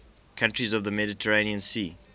countries of the mediterranean sea